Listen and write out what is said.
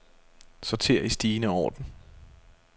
Sorter i stigende orden.